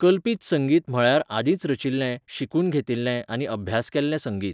कल्पीत संगीत म्हळ्यार आदींच रचिल्लें, शिकून घेतिल्लें आनी अभ्यास केल्लें संगीत.